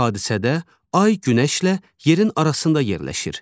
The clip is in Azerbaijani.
Belə hadisədə ay günəşlə yerin arasında yerləşir.